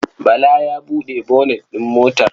Bala ya buɗe bonet ɗin motar.